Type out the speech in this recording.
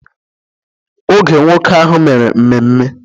Oge nwoke ahụ mere mmemme...